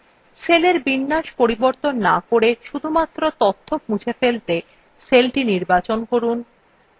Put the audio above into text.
সেলের বিন্যাস পরিবর্তন to করে শুধুমাত্র তথ্য মুছে ফেলতে cellthe নির্বাচন করুন